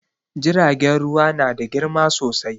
Jiragen ruwa na da girma sosai